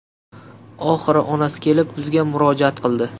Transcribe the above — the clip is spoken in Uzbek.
Oxiri onasi kelib bizga murojaat qildi.